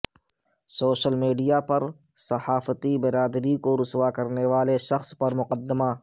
social media پر صحافتی برادری کو رسواء کرنے والے شخص پر مقدمہ